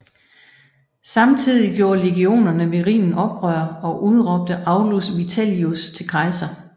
Samtidig gjorde legionerne ved Rhinen oprør og udråbte Aulus Vitellius til kejser